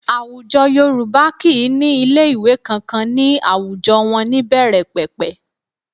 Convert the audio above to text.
Àwùjọ Yorùbá kì í ní kò ní ilé ìwé kankan ní àwùjọ wọn ní ìbẹ̀rẹ̀pẹ̀pẹ̀